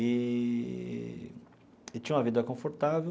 Eee e tinha uma vida confortável.